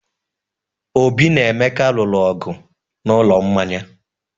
Obi na Emeka lụrụ ọgwụ n'ụlọ mmanya.